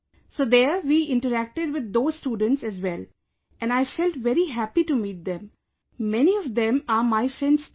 So there we interacted with those students as well and I felt very happy to meet them, many of them are my friends too